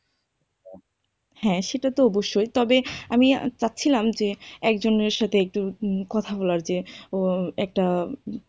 হ্যাঁ সেটা তো অবশ্যই তবে আমি চাচ্ছিলাম যে একজনের সাথে একটু কথা বলার যে ও একটা,